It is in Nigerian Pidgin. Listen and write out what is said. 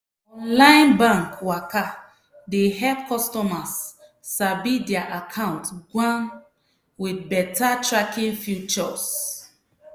online bank waka dey help customers sabi their account gwan with beta tracking features.